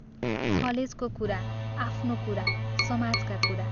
कलेजको कुरा, आफ्नो कुरा, समाजका कुरा ।